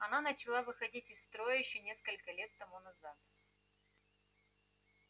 она начала выходить из строя ещё несколько лет тому назад